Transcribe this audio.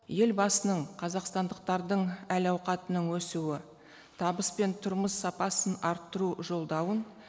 елбасының қазақстандықтардың әл ауқатының өсуі табыс пен тұрмыс сапасын арттыру жолдауын